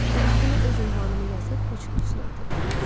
Və üstünə öz ünvanımı yazıb poçt qutusuna atırdım.